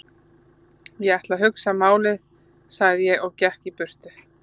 Ég ætla að hugsa málið sagði ég svo og gekk í burtu.